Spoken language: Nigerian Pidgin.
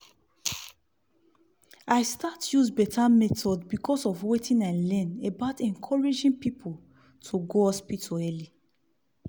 i start use better method because of wetin i learn about encouraging people to go hospital early.